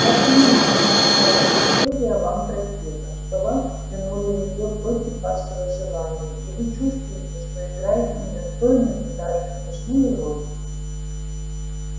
я понимаю что вся эта история вам противна что вас втянули в неё против вашего желания и вы чувствуете что играете недостойную и даже смешную роль